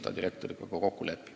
Palun, Urve Tiidus!